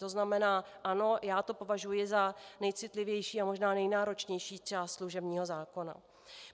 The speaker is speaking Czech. To znamená, ano, já to považuji za nejcitlivější a možná nejnáročnější část služebního zákona.